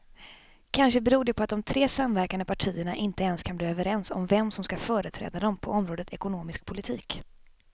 Kanske beror det på att de tre samverkande partierna inte ens kan bli överens om vem som ska företräda dem på området ekonomisk politik.